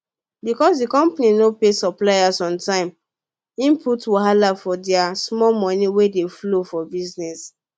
because d company no pay suppliers on time e put wahala for their small moni wey dey flow for business